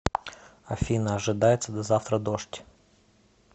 афина ожидается до завтра дождь